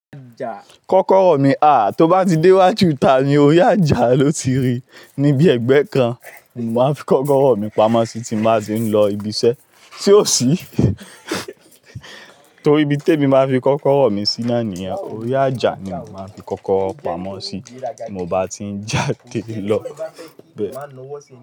Kọ́kọ́rọ́ mi a, tó bá ti dé wájù ita mi orí àjà ló ti rí, ní bí ẹgbẹ́ kan, mọ máa fi kọ́kọ́rọ́ mi pamọ́ sí tí n bá ti ń lọ ibi iṣẹ́ ṣe ò sí? Torí ibi tèmi máa fi kọ́kọ́rọ́ mi sí naá ni yen, orí àjà ni mo máa fi kọ́kọ́rọ́ pamọ́ sí, mo bá ti ń jáde lọ bẹ.